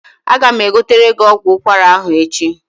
Aga m egotere gị ọgwụ ụkwara ahụ echi.